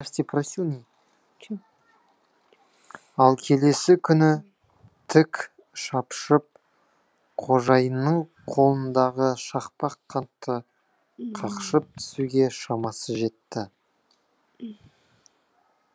ал келесі күні тік шапшып қожайынның қолындағы шақпақ қантты қақшып түсуге шамасы жетті